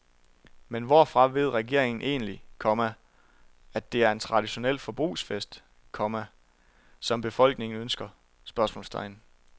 Men hvorfra ved regeringen egentlig, komma at det er en traditionel forbrugsfest, komma som befolkningen ønsker? spørgsmålstegn